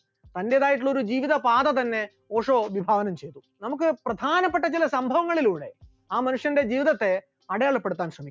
തന്റേതായിട്ടുള്ള ഒരു ജീവിതപാത തന്നെ ഓഷോ വിഭാവനം ചെയ്തു, നമുക്ക് പ്രധാനപ്പെട്ട ചില സംഭവങ്ങളിലൂടെ ആ മനുഷ്യന്റെ ജീവിതത്തെ അടയാളപ്പെടുത്താൻ ശ്രമിക്കാം,